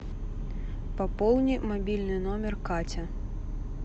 пополни мобильный номер катя